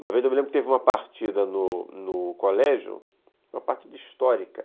Uma vez eu me lembro que teve uma partida no no colégio, uma partida histórica.